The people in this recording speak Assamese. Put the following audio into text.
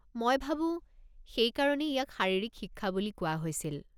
মই ভাবোঁ, সেইকাৰণেই ইয়াক শাৰীৰিক শিক্ষা বুলি কোৱা হৈছিল।